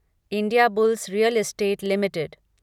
Indiabulls real estate limited